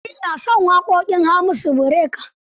Samari na son waƙoƙin Hamisu Breaker.